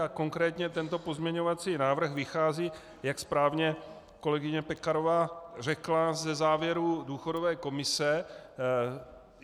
A konkrétně tento pozměňovací návrh vychází, jak správně kolegyně Pekarová řekla, ze závěrů důchodové komise.